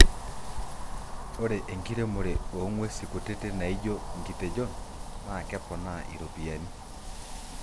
ore enkiremore oo ng'uesi kutiti naijo inkitejon naa keponaa iropiani